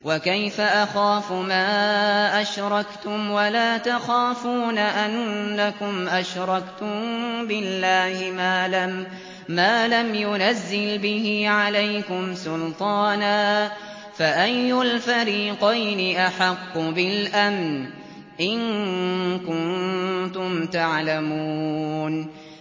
وَكَيْفَ أَخَافُ مَا أَشْرَكْتُمْ وَلَا تَخَافُونَ أَنَّكُمْ أَشْرَكْتُم بِاللَّهِ مَا لَمْ يُنَزِّلْ بِهِ عَلَيْكُمْ سُلْطَانًا ۚ فَأَيُّ الْفَرِيقَيْنِ أَحَقُّ بِالْأَمْنِ ۖ إِن كُنتُمْ تَعْلَمُونَ